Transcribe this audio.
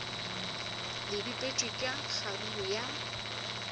le bipetšwe ka kgaruru ya